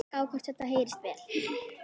Drífa mín?